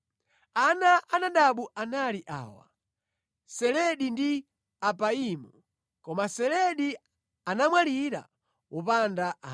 Ana a Nadabu anali awa: Seledi ndi Apaimu. Koma Seledi anamwalira wopanda ana.